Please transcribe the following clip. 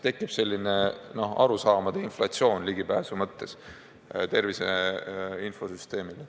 Tekib selline tervise infosüsteemile ligipääsu puudutavate arusaamade inflatsioon.